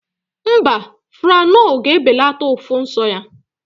Mba, Franol ga ebelata ụfụ nsọ ya